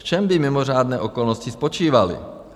V čem by mimořádné okolnosti spočívaly?